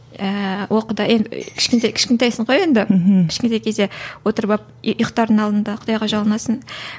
ііі о құдайым кішкентай кішкентайсың ғой енді кішкентай кезде отырып алып ұйқтардың алдында құдайға жалынасың